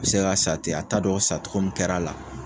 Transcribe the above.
bɛ se ka sa ten a t'a dɔn sa cogo min kɛr'a la.